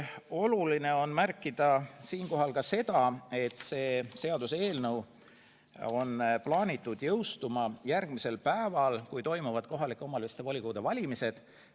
Oluline on märkida siinkohal ka seda, et seaduseelnõu on plaanitud jõustuma kohalike omavalitsuste volikogude valimistele järgneval päeval.